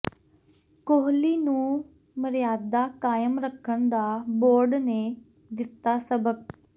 ਕੋਹਲੀ ਨੂੰ ਮਰਿਆਦਾ ਕਾਇਮ ਰੱਖਣ ਦਾ ਬੋਰਡ ਨੇ ਦਿੱਤਾ ਸਬਕ